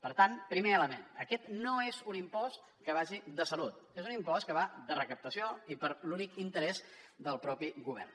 per tant primer element aquest no és un impost que vagi de salut és un impost que va de recaptació i per l’únic interès del mateix govern